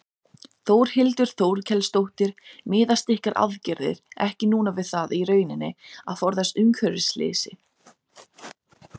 Var heimsborgari, og hvernig í ósköpunum átti hún að þola við í allri sveitamennskunni hér?